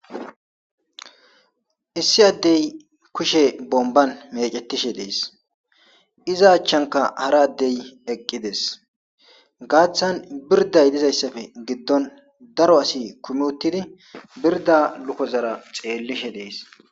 issi addey kushe bomban mecetishe dees iza achchanka hara addey eqqides gaaththan birda yedizayssafe giddon daro asi kumi uttidi birda lukozara xeellishe dees